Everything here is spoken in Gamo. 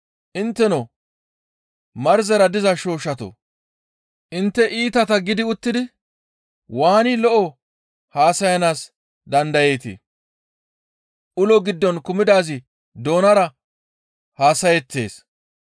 Intteno marzera diza shooshshatoo! Intte iitata gidi uttidi waani lo7o haasayanaas dandayeetii? Ulo giddon kumidaazi doonara haasayettees.